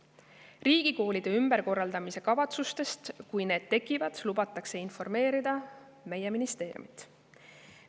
Riigikoolide ümberkorraldamise kavatsustest, kui need tekivad, lubatakse informeerida meie ministeeriumit.